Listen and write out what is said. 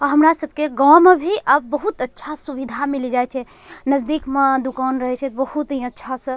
अ हमरा सब के गॉव में भी अब बहुत अच्छा सुविधा मिलि जाए छे नज़दीक म दुकान रहे छे त बहुत ही अच्छा स --